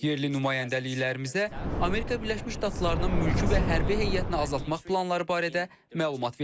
Yerli nümayəndəliklərimizə Amerika Birləşmiş Ştatlarının mülki və hərbi heyətini azaltmaq planları barədə məlumat verilib.